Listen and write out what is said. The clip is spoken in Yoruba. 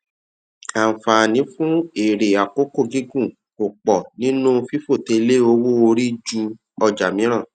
àǹfààní fún èrè àkókò gígùn kò pọ nínú fífòté lé owó orí ju ọjà mìíràn